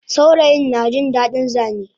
Saurayin najin dadin Zane